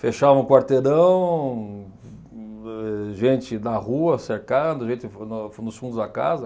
Fechava um quarteirão, eh gente na rua cercando, gente vo no nos fundos da casa.